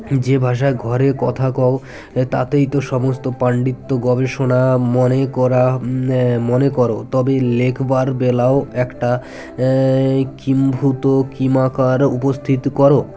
যে ভাষায় ঘরে কথা কও তাতেই তো সমস্ত পান্ডিত্য গবেষণা মনে করা আ মনে কর তবে লেখবার বেলাও ও একটা আ কিম্ভূত কিমাকার উপস্থিত কর